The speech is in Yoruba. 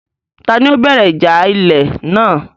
Ta ni ó bẹ̀rẹ̀ ìjà ilẹ̀ náà?